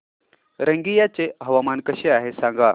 रंगिया चे हवामान कसे आहे सांगा